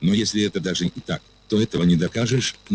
но если это даже и так то этого не докажешь нахмурился гарри